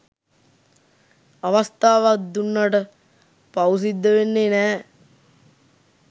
අවස්ථාවක් දුන්නට පවු සිද්ධ වෙන්නෙ නෑ